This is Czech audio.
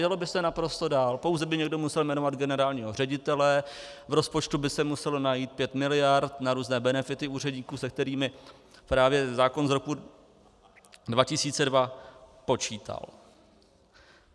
Jelo by se naprosto dál, pouze by někdo musel jmenovat generálního ředitele, v rozpočtu by se muselo najít 5 miliard na různé benefity úředníků, se kterými právě zákon z roku 2002 počítal.